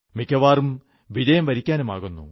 മിക്കവാറും വിജയം വരിക്കാനുമാകുന്നു